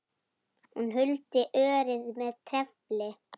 Hún huldi örið með trefli.